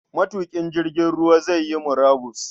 Matuƙin jirgin ruwa zai yi murabus.